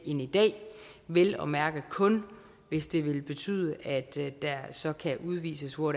i dag vel og mærke kun hvis det vil betyde at der så kan udvises hvor